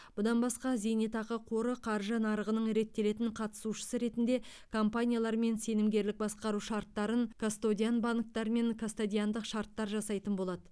бұдан басқа зейнетақы қоры қаржы нарығының реттелетін қатысушысы ретінде компаниялармен сенімгерлік басқару шарттарын кастодиан банктармен кастодиандық шарттар жасайтын болады